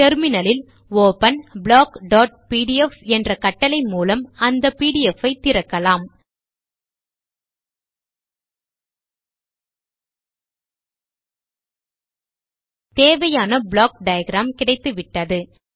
terminal ல் open blockபிடிஎஃப் என்ற கட்டளை மூலம் அந்த பிடிஎஃப் ஐ திறக்கலாம் தேவையான ப்ளாக் டயாகிராம் கிடைத்துவிட்டது